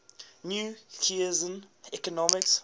new keynesian economics